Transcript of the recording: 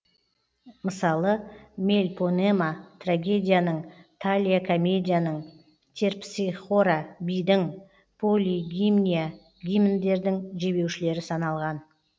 мысалы мельпонема трагедияның талия комедияның терпсихора бидің полигимния гимндердің жебеушілері саналған